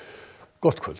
gott kvöld